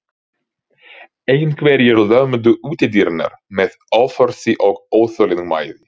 Einhverjir lömdu útidyrnar með offorsi og óþolinmæði.